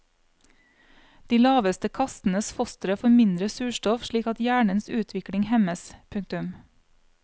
De laveste kastenes fostre får mindre surstoff slik at hjernens utvikling hemmes. punktum